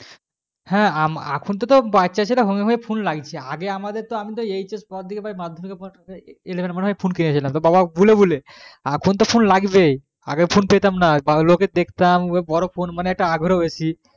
হ্যাঁ এখন তো বাচ্চা ছেলে হয়ে হয়ে তো phone লাগছে আগে কি বলছে hs পর madhyamik পর ফোন নিয়েছি madhyamik eleven এর পর ফোন কিনেছিলাম বাবাকে বলে বলে এখন তো সব লাগবেই আগে তো ফুন পেতাম না লোকের দেখতাম বড়ো phone আগ্রহ বেশি